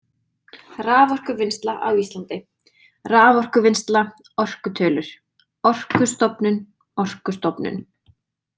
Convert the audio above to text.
Raforkuvinnsla á Íslandi „Raforkuvinnsla“ Orkutölur „Orkustofnun“ Orkustofnun.